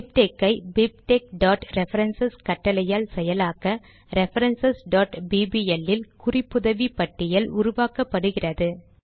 BibTeX ஐ bibtexரெஃபரன்ஸ் கட்டளையால் செயலாக்க ரெஃபரன்ஸ் bbl இல் குறிப்புதவி பட்டியல் உருவாக்கப்படுகிறது